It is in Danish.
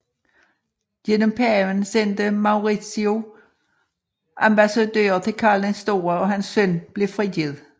Gennem paven sendte Maurizio ambassadører til Karl den Store og hans søn blev frigivet